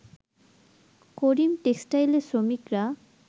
করিম টেক্সটাইলের শ্রমিকরা